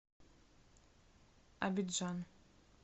абиджан